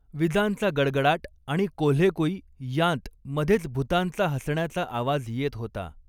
विजांचा गडगडाट आणि कोल्हेकुई यांत मधेच भुतांचा हंसण्याचा आवाज येत होता.